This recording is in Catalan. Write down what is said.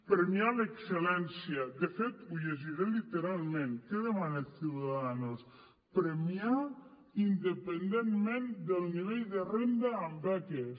premiar l’excel·lència de fet ho llegiré literalment què demana ciudadanos premiar independentment del nivell de renda amb beques